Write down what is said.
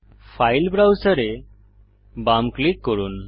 file ব্রাউসের এ বাম ক্লিক করুন